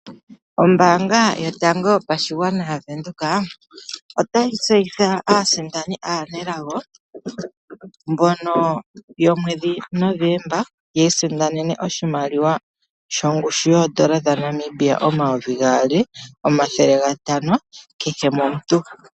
Ombanga yotango yopashigwana yaNamibia otayi tseyitha aasindani anelago mbono yomwedhi Novomba yi isindanene oshimaliwa shongushu yondola dhaNamibia 2500 kehe momuntu.